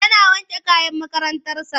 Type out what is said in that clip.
Yana wanke kayan makarantarsa.